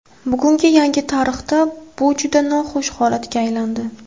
Bugungi yangi tarixda bu juda noxush holatga aylandi.